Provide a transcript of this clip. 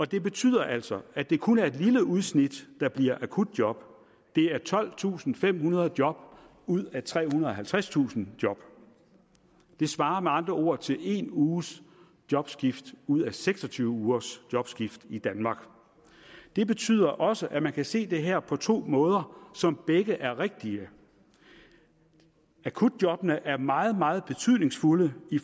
det betyder altså at det kun er et lille udsnit der bliver akutjob det er tolvtusinde og femhundrede job ud af trehundrede og halvtredstusind job det svarer med andre ord til en uges jobskifte ud af seks og tyve ugers jobskifte i danmark det betyder også at man kan se det her på to måder som begge er rigtige akutjobbene er meget meget betydningsfulde